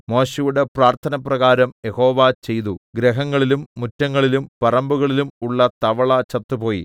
മോശെയുടെ പ്രാർത്ഥനപ്രകാരം യഹോവ ചെയ്തു ഗൃഹങ്ങളിലും മുറ്റങ്ങളിലും പറമ്പുകളിലും ഉള്ള തവള ചത്തുപോയി